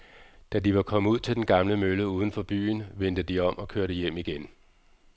Da de var kommet ud til den gamle mølle uden for byen, vendte de om og kørte hjem igen.